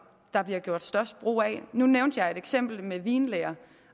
der gøres størst brug af nu nævnte jeg eksemplet med vinlæren